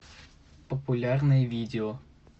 популярные видео